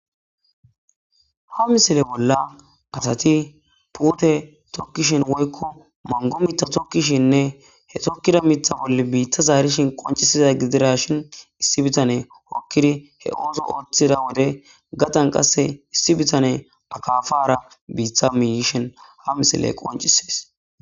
Ha misile bolla asati pute tokkishin woykko mango mita tokkishinne he tokkida mitha bolle biitta zaarishin qoncisida gidira shin issi bitane okkidi he uuzo ooththida wode gatan qasse issi bitane akafara biitta miyishen ha misile qoncisiis.